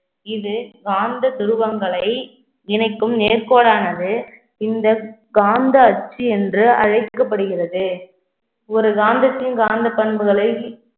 இது காந்த துருவங்களை இணைக்கும் நேர்க்கோடானது இந்த காந்த அச்சு என்று அழைக்கப்படுகிறது ஒரு காந்தத்தின் காந்த பண்புகளை